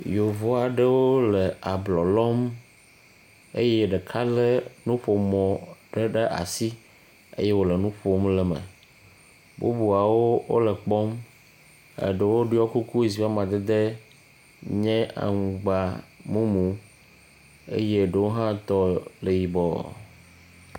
Yevu aɖewo le ablɔ lɔm eye ɖeka le nuƒomɔ ɖe ɖe asi eye wo le nu ƒom le eme. Bubuawo wo le ekpɔ eɖewo ɖɔ kuku si ƒe amadede nye aŋgbamumu eye eɖewo hã tɔ le yibɔ.